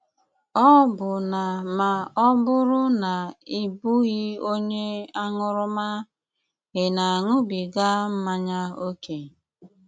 Ọ́bụ́nà mà ọ́ bùrù ná ị́ bụghị́ ónye áṅúrúmà, ị́ na-aṅúbígá mmányá ókè?